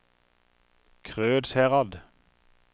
Krødsherad